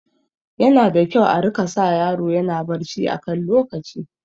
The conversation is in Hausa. Yana da kyau a rika sa yaro yana barci a kan lokaci